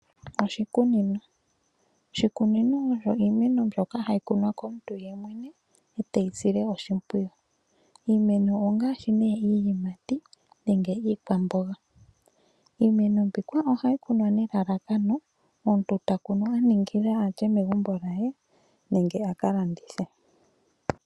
Oshikunino, oshikunino oyo iimeno mbyoka hayi kunwa komuntu yemwene eteyi sile oshimpwiyu. Iimeno ongaashi ne iiyimati nenge iikwamboga, iimeno mbika ohayi kunwa nelalakano omuntu takunu aningila lye megumbo lyaye nenge aka landithe.